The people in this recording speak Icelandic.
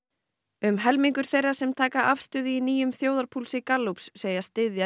um helmingur þeirra sem taka afstöðu í nýjum þjóðarpúlsi Gallups segist styðja